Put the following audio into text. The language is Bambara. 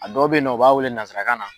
A dɔw be yen nɔn, u b'a wele nazarakan na